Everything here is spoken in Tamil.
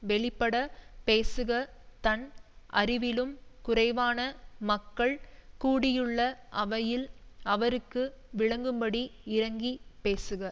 வெளிப்படப் பேசுக தன் அறிவிலும் குறைவான மக்கள் கூடியுள்ள அவையில் அவருக்கு விளங்கும்படி இறங்கிப் பேசுக